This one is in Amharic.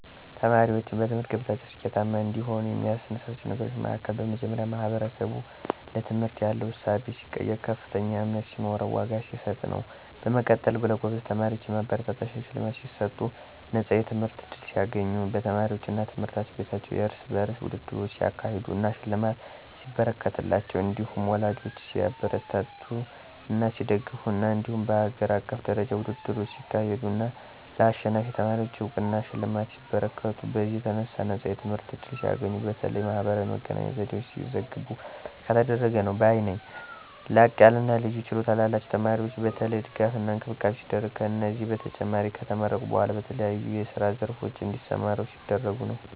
ተማሪዎችን በትምህርት ገበታቸው ስኬታማ እንዲሆኑ የሚያነሳሳቸው ነገሮች መሀከል በመጀመሪያ ማህበረሰቡ ለትምህርት ያለው እሳቤ ሲቀየር፥ ከፍተኛ እምነት ሲኖረውና ዋጋ ሲሰጥ ነው። በመቀጠልም ለጎበዝ ተማሪዎች የማበረታቻ ሽልማት ሲሰጡ፣ ነፃ የትምህርት ዕድል ሲያገኙ፣ በተማሪዎቹ አና ትምህርት ቤቶች የርስ በርስ ውድድሮች ሲያካሄዱ አና ሽልማት ሲበረከትላቸው እንዲሁም ወላጂ ሲያበረታታና ሲደግፍ ነው። እንዲሁም በሀገር አቀፍ ደረጃ ውድድሮች ሲካሄዱ አና ለአሸናፊ ተማሪወች አውቅናና ሽልማቶች ሲበረከቱ፤ በዚህም የተነሣ ነፃ የትምህርት ዕድል ሲያገኙ፣ በተለያየ የማህበራዊ መገናኛ ዘዴወች ሲዘገቡ ከተደረገ ነው ባይ ነኝ። ላቅያለና ልዩ ችሎታ ላላቸው ተማሪወች የተለየ ድጋፍና እንክብካቤ ሲደረግ፤ ከዚህም በተጨማሪ ከተመረቁ በኋላ በተለያዬ የስራ ዘርፎች እንዲሰማሩ ሲደረጉ ነው።